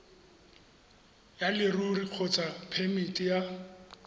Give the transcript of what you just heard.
ya leruri kgotsa phemiti ya